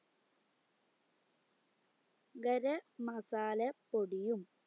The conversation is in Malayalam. ഗര മസാല പൊടിയും